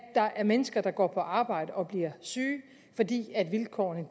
der er mennesker der går på arbejde og bliver syge fordi vilkårene